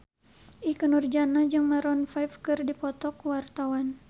Ikke Nurjanah jeung Maroon 5 keur dipoto ku wartawan